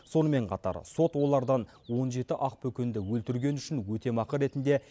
сонымен қатар сот олардан он жеті ақбөкенді өлтіргені үшін өтемақы ретінде